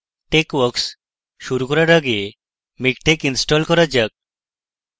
texworks শুরু করার আগে আগে miktex install করা যাক